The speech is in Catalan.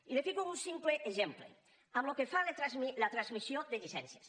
i li fico un simple exemple pel que fa a la transmissió de llicències